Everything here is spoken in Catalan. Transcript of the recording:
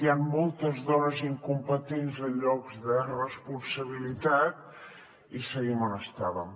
hi han moltes dones incompetents en llocs de responsabilitat i seguim on estàvem